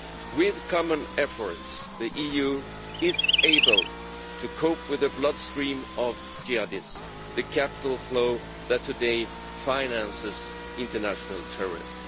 With common efforts, the EU is able to cope with the bloodstream of Jihadism the capital flow that today finances international terrorism.